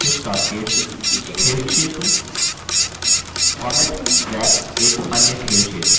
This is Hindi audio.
fish cascade – खेल क्षेत्र